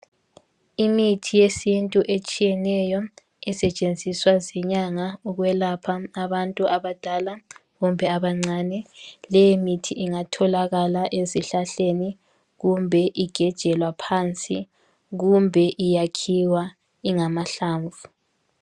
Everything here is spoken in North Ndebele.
Imithi yesiNtu etshiyeneyo esetshenziswa zinyanga ukwelapha abantu abadala kumbe abancane leyi mithi ingatholakala ezihlahleni kumbe igejwe laphansi kumbe iyakhiwa ingamahlamvu.